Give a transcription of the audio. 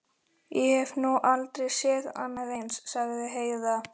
Ég hef nú aldrei séð annað eins, sagði Heiða.